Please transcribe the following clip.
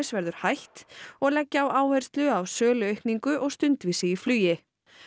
verður hætt og leggja á áherslu á söluaukningu og stundvísi í flugi